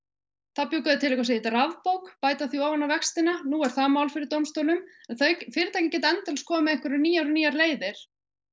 þá bjuggu þau til eitthvað sem heitir rafbók sem bættu ofan á vextina nú er það mál fyrir dómstólum en fyrirtækin geta endalaust komið með einhverjar nýjar nýjar leiðir